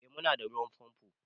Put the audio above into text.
Eh mu na da ruwan famfo